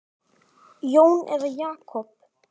Jón eða Jakob?